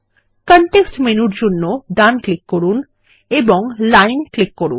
context মেনুর জন্য ডান ক্লিক করুন এবং লাইন ক্লিক করুন